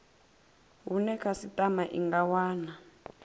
hune khasitama i nga wana